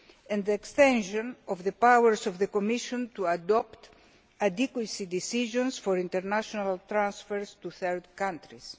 and the extension of the powers of the Commission to adopt adequacy decisions for international transfers to third countries.